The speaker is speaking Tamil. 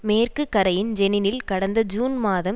மேற்கு கரையின் ஜெனினில் கடந்த ஜூன் மாதம்